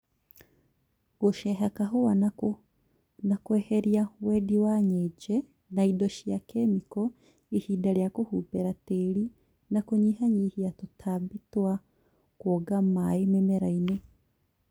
Gũceeha kahũa na kweheria Wendi wa njenye na indo cia kĩmĩko ihinda rĩa kũhumbĩra tĩri na kũnyihanyihia tũtambi twa kwonga maĩ mĩmera-inĩ